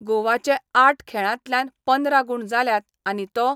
गोवाचे आठ खेळांतल्यान पंदरा गुण जाल्यात आनी तो